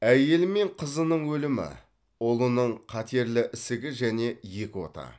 әйелі мен қызының өлімі ұлының қатерлі ісігі және екі ота